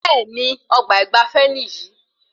Bẹẹni, ọgbà ìgbafé níyì